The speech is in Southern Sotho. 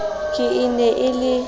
ka e ne e le